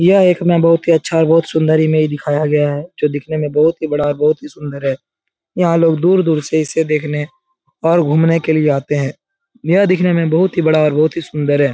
यह एक हमे बहुत ही अच्छा और बहुत सुंदर इमेज दिखाया गया है। जो दिखने में बहुत ही और बड़ा बहुत सुंदर है। यहाँ लोग दूर-दूर से इस देखने और घूमने के लिया आते है। यह दिखने मे बहुत ही बड़ा और बहुत ही सुंदर है।